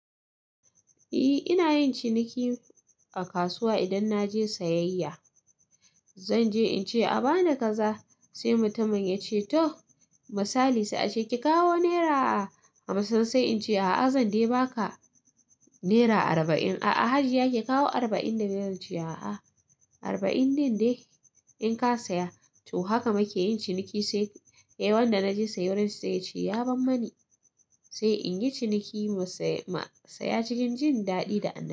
Eh ina yin ciniki a kasuwa idan na je sayayya. Zan je in ce a ba ni kaza sai mutumin ya ce to misali sai a ce ki kawo naira hamsin sai in ce a'a zan dai ba ka naira arba'in. A'a Hajiya ki kawo arba'in da biyar zance a'a arba'in din dai in ka saya. To haka muke yin ciniki sai eh wanda na je siyarwa sai ya ce ya ban mani. Sai in yi ciniki masaya cikin jin daɗi da annashuwa.